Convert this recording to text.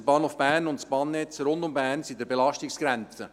Der Bahnhof Bern und das Bahnnetz rund um Bern sind an der Belastungsgrenze.